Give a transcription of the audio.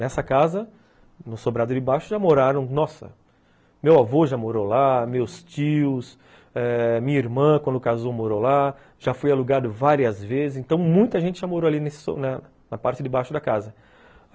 Nessa casa, no sobrado de baixo, já moraram, nossa, meu avô já morou lá, meus tios eh, minha irmã, quando casou, morou lá, já fui alugado várias vezes, então muita gente já morou ali nesse na parte de baixo da casa.